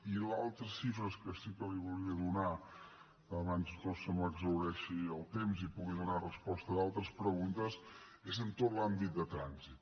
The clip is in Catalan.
i les altres xifres que sí que li volia donar abans no se m’exhaureixi el temps i pugui donar resposta a d’altres preguntes és en tot l’àmbit de trànsit